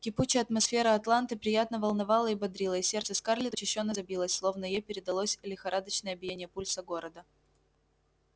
кипучая атмосфера атланты приятно волновала и бодрила и сердце скарлетт учащённо забилось словно ей передалось лихорадочное биение пульса города